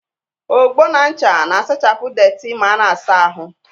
Ogbo na ncha na-asachapụ deeti ma ana-asa ahụ